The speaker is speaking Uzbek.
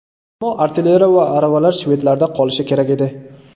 Ammo artilleriya va aravalar shvedlarda qolishi kerak edi.